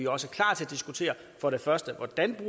også klar til at diskutere for det første hvordan vi